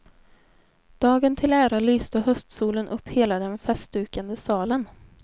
Dagen till ära lyste höstsolen upp hela den festdukade salen.